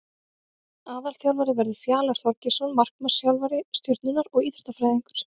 Aðalþjálfari verður Fjalar Þorgeirsson markmannsþjálfari Stjörnunnar og Íþróttafræðingur.